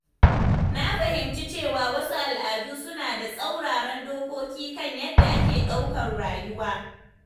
Na fahimci cewa wasu al’adu suna da tsauraran dokoki kan yadda ake ɗaukar rayuwa.